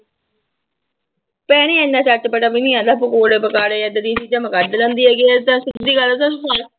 ਭੈਣੇ ਇੰਨਾ ਚਟਪਟਾ ਵੀ ਨੀ ਆਉਂਦਾ ਪਕੌੜੇ ਪਕਾੜੇ ਏਦਾਂ ਦੀਆਂ ਚੀਜ਼ਾਂ ਮੈਂ ਕੱਢ ਲੈਂਦੀ ਹੈਗੀ ਤਾਂ ਸਿੱਧੀ ਜਿਹੀ ਗੱਲ ਦੱਸਾਂ